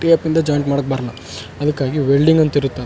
POP ಇಂದ joint ಮಾಡಾಕ್ ಬರಲ ಅದಕ್ಕಾಗಿ ವೆಲ್ಡಿಂಗ್ ಅಂತ ಇರುತ್ತೆ.